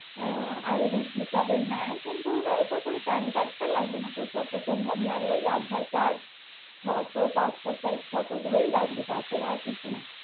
ID হিসাবে নাই কিন্তু আশা করি pan card লাগবেনা যত সম্ভব লাগলে ওই aadhaar card passport size photo গুলোই লাগবে তাছাড়া আর কিছু না।